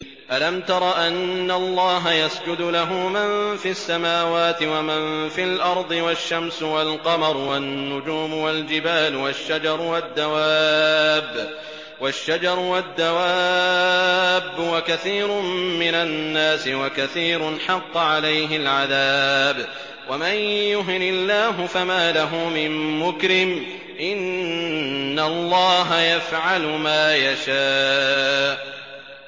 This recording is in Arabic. أَلَمْ تَرَ أَنَّ اللَّهَ يَسْجُدُ لَهُ مَن فِي السَّمَاوَاتِ وَمَن فِي الْأَرْضِ وَالشَّمْسُ وَالْقَمَرُ وَالنُّجُومُ وَالْجِبَالُ وَالشَّجَرُ وَالدَّوَابُّ وَكَثِيرٌ مِّنَ النَّاسِ ۖ وَكَثِيرٌ حَقَّ عَلَيْهِ الْعَذَابُ ۗ وَمَن يُهِنِ اللَّهُ فَمَا لَهُ مِن مُّكْرِمٍ ۚ إِنَّ اللَّهَ يَفْعَلُ مَا يَشَاءُ ۩